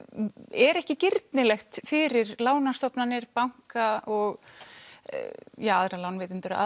er ekki girnilegt fyrir lánastofnanir banka og aðra lánveitendur að